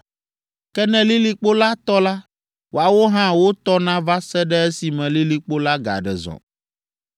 Ke ne lilikpo la tɔ la, woawo hã wotɔna va se ɖe esime lilikpo la gaɖe zɔ.